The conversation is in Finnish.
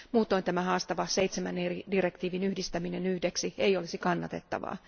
Muutoin tämä haastava seitsemän eri direktiivin yhdistäminen yhdeksi ei olisi kannatettavaa.